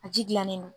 A ji dilannen don